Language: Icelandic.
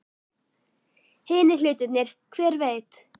Hinir hlutirnir. hver veit?